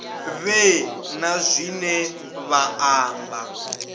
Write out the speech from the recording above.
vhe na zwine vha amba